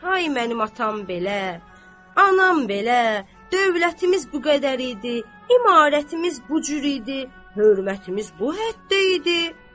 Ay mənim atam belə, anam belə, dövlətimiz bu qədər idi, imarətimiz bu cür idi, hörmətimiz bu həddə idi.